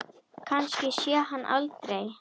Kannski sé ég hann aldrei.